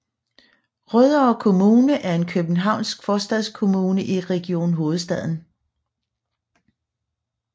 Rødovre Kommune er en københavnsk forstadskommune i Region Hovedstaden